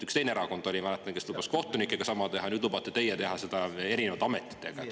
Üks teine erakond, ma mäletan, lubas kohtunikega sama teha, nüüd lubate teie teha seda erinevates ametites.